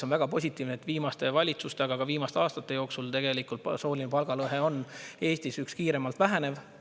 On väga positiivne, et viimaste valitsuste, aga ka viimaste aastate jooksul tegelikult sooline palgalõhe on Eestis kiirelt vähenev.